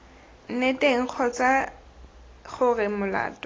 nne teng kgotsa gore molato